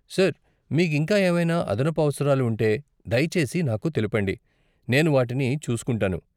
Sir, మీకు ఇంకా ఏవైనా అదనపు అవసరాలు ఉంటే, దయచేసి నాకు తెలుపండి, నేను వాటిని చూసుకుంటాను.